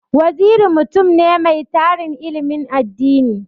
Waziri mutum ne mai tarin ilimin addini.